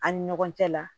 An ni ɲɔgɔn cɛ la